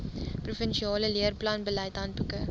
provinsiale leerplanbeleid handboeke